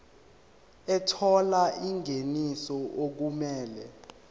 ethola ingeniso okumele